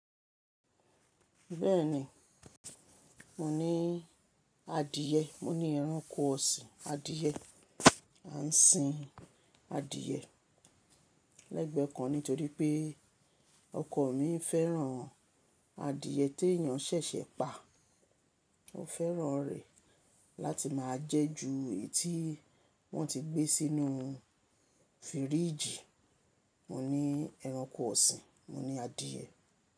Bẹ́ẹ̀ni, mo ní adìẹ, mo ní ẹranko ọ̀sìn, adìẹ, à ń sìn adìẹ lẹ́gbẹ́ kan nítorí pé ọkọ mi fẹ́ràn adìẹ tí èyàn ṣẹ̀ṣẹ̀ pa. O fẹ́ràn rẹ̀ láti máa jẹ ju eyi tí wọ́n ti gbé sínú fìríjì. Mo ní ẹranko ọ̀sìn, mo ní adìẹ.